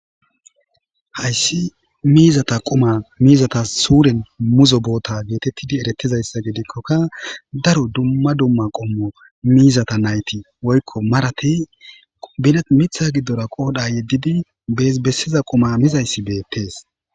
Hayssi miizata qoma miizata suuren muzo boota geetettidi erettizayssa gidikkoka daro dumma dumma qommo miizata nayti woykko marati binet mitha giddora qoodha yeddidi bees bessiza qoma mizayssi beettees